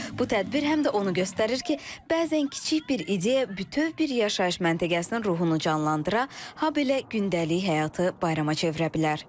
Bu tədbir həm də onu göstərir ki, bəzən kiçik bir ideya bütöv bir yaşayış məntəqəsinin ruhunu canlandıra, habelə gündəlik həyatı bayrama çevirə bilər.